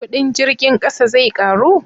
kudin jirgin ƙasa zai karu?